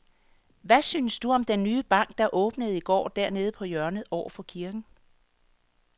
Hvad synes du om den nye bank, der åbnede i går dernede på hjørnet over for kirken?